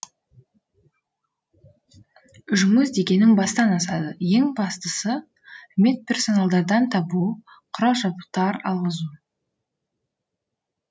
жұмыс дегенің бастан асады ең бастысы медперсоналдардан табу құрал жабдықтар алғызу